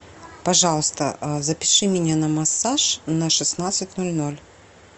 пожалуйста запиши меня на массаж на шестнадцать ноль ноль